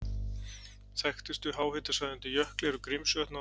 Þekktustu háhitasvæði undir jökli eru Grímsvötn og